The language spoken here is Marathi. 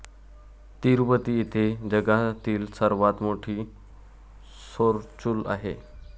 तिरुपती येथे जगातील सर्वात मोठी सौरचूल आहे.